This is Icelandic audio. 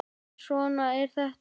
En svona er þetta!